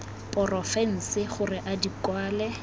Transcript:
porofense gore a di kwale